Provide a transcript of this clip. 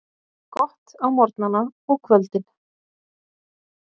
Gott á morgnana og kvöldin.